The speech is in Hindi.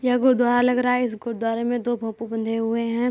ये गुरुदवार लग रहा है। इस गुरुदवारे में दो भोपू बंधे हुए हैं।